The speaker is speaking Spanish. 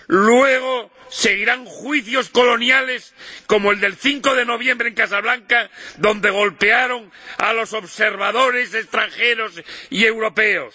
Luego seguirán juicios coloniales como el del 5 de noviembre en Casablanca, donde golpearon a los observadores extranjeros y europeos.